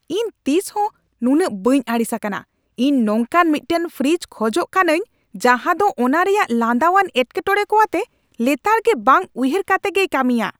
ᱤᱧ ᱛᱤᱥ ᱦᱚᱸ ᱱᱩᱱᱟᱹᱜ ᱵᱟᱹᱧ ᱟᱹᱲᱤᱥ ᱟᱠᱟᱱᱟ ᱾ ᱤᱧ ᱱᱚᱝᱠᱟᱱ ᱢᱤᱫᱴᱟᱝ ᱯᱷᱨᱤᱡᱽ ᱠᱷᱚᱡᱚᱜ ᱠᱟᱹᱱᱟᱹᱧ ᱡᱟᱦᱟᱸ ᱫᱚ ᱚᱱᱟ ᱨᱮᱭᱟᱜ ᱞᱟᱸᱫᱟᱣᱟᱱ ᱮᱴᱠᱮᱴᱚᱬᱮ ᱠᱚ ᱟᱛᱮ ᱞᱮᱛᱟᱲᱜᱮ ᱵᱟᱝ ᱩᱭᱦᱟᱹᱨ ᱠᱟᱛᱮ ᱜᱮᱭ ᱠᱟᱹᱢᱤᱭᱟ !